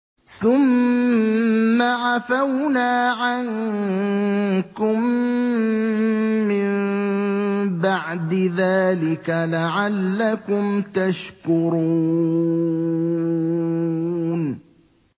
ثُمَّ عَفَوْنَا عَنكُم مِّن بَعْدِ ذَٰلِكَ لَعَلَّكُمْ تَشْكُرُونَ